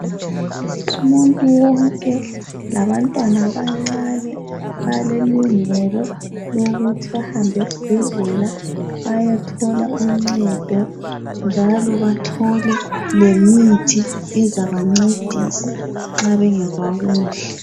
Umuntu wonke labantwana abancane balelungelo lokuthi bahambe esibhedlela bayethola uncedo njalo bathole lemithi ezabancedisa nxa bengezwa kuhle.